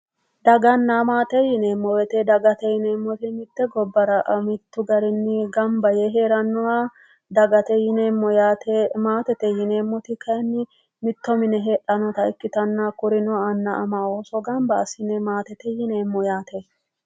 Daganna maate yinneemmo woyte mite gobbara mitu garinni gamba yee heeranoha dagate yinneemmo yaate, maatete yinneemmoti kayinni mitto mine heedhanotta ikkittanna hakkuno ama annu ooso gamba assine oosote yinneemmo yaate.